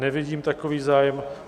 Nevidím takový zájem.